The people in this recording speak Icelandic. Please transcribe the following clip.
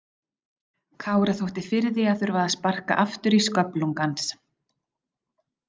Kára þótti fyrir því að þurfa að sparka aftur í sköflung hans.